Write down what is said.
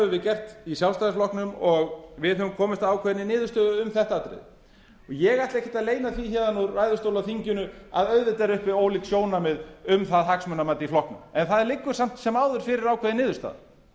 við gert í sjálfstæðisflokknum og við höfum komist að ákveðinni niðurstöðu um þetta atriði ég ætla ekki að leyna því héðan úr ræðustól á þinginu að auðvitað eru uppi ólík sjónarmið um það hagsmunamat í flokknum en